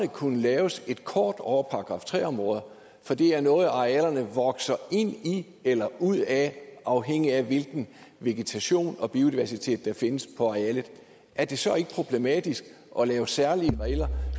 kunne laves et kort over § tre områder for det er noget arealerne vokser ind i eller ud af afhængigt af hvilken vegetation og biodiversitet der findes på arealet er det så ikke problematisk at lave særlige regler